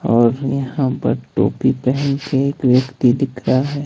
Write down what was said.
और यहां पर टोपी पहन के एक व्यक्ति दिख रहा है।